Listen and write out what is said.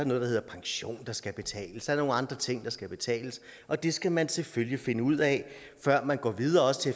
noget hedder pension der skal betales der er nogle andre ting der skal betales og det skal man selvfølgelig finde ud af før man går videre til